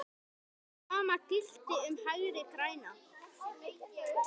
Sama gilti um Hægri græna.